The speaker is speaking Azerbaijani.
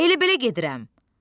Elə belə gedirəm.